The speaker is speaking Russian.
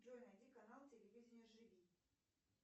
джой найди канал телевидение живи